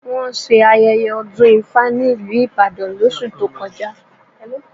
Wọ́n ṣe ayẹyẹ ọdún ifá ní ìlú Ìbàdàn lóṣù tó kọjá